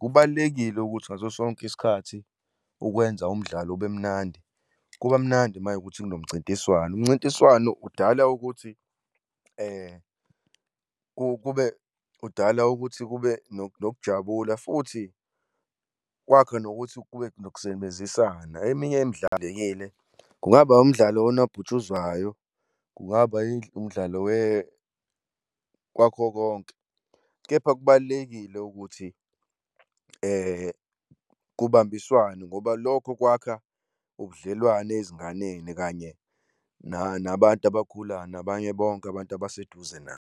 Kubalulekile ukuthi ngaso sonke isikhathi ukwenza umdlalo ube mnandi, kuba mnandi uma kuyukuthi kunomncintiswano, umncintiswano udala ukuthi kube, udala ukuthi kube nokujabula, futhi kwakha nokuthi kube nokusebenzisana. Eminye imidlalo-ke le, kungaba umdlalo wonobhutshuzwayo, kungaba umdlalo wakho konke, kepha kubalulekile ukuthi kubambiswane ngoba lokho kwakha ubudlelwane ezinganeni kanye nabantu abakhulayo nabanye bonke abantu abaseduze nabo.